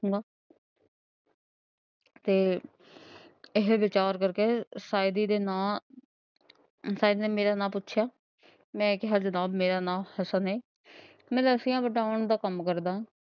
ਤੇ ਇਹ ਵਿਚਾਰ ਕਰਕੇ ਸਾਈਦੀ ਦੇ ਨਾਂ ਸਾਈਦ ਨੇ ਮੇਰਾ ਨਾਂ ਪੁੱਛਿਆ ਮੈਂ ਕਿਹਾ ਜਨਾਬ ਮੇਰਾ ਨਾਮ ਹਸਨ ਹੈ। ਮੈਂ ਰੱਸੀਆਂ ਬਟੋਣ ਦਾ ਕੰਮ ਕਰਦਾ ਹਾਂ।